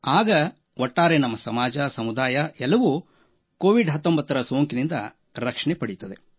ಆಗ ಒಟ್ಟಾರೆ ನಮ್ಮ ಸಮಾಜ ಸಮುದಾಯವೂ ಕೋವಿಡ್19 ಸೋಂಕಿನಿಂದ ರಕ್ಷಣೆ ಪಡೆಯುತ್ತದೆ